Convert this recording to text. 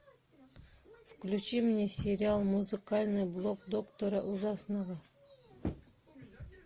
включи мне сериал музыкальный блок доктора ужасного